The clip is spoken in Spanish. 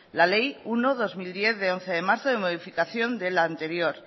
la ley uno barra dos mil diez de once de marzo de modificación de la anterior